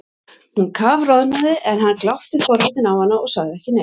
Hún kafroðnaði en hann glápti forvitinn á hana og sagði ekki neitt.